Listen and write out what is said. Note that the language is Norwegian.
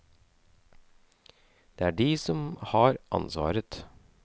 Det er de som har ansvaret.